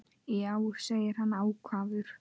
Já, segir hann ákafur.